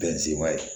Bɛn zime